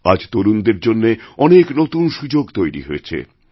আজ তরুণদের জন্য অনেকনতুন সুযোগ তৈরি হয়েছে